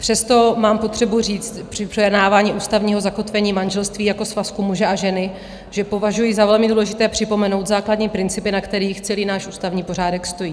Přesto mám potřebu říct při projednávání ústavního zakotvení manželství jako svazku muže a ženy, že považuji za velmi důležité připomenout základní principy, na kterých celý náš ústavní pořádek stojí.